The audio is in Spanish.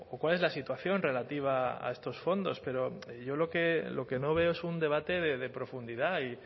cuál es la situación relativa a estos fondos pero yo lo que no veo es un debate de profundidad y